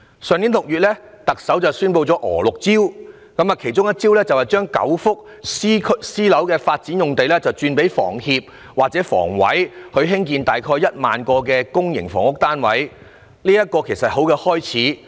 特首在去年6月宣布了"娥六招"，其中一招是把9幅私樓發展用地轉給香港房屋協會或香港房屋委員會，用以興建約 10,000 個公營房屋單位，這是一個很好的開始。